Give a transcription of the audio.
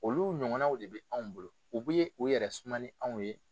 Olu ɲɔgɔnw de bɛ anw bolo u bɛ u yɛrɛ suma ni anw ye.